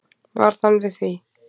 Varð hann við því.